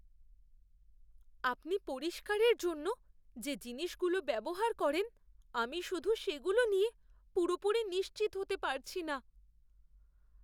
আপনি পরিষ্কারের জন্য যে জিনিসগুলো ব্যবহার করেন আমি শুধু সেগুলো নিয়ে পুরোপুরি নিশ্চিত হতে পারছি না।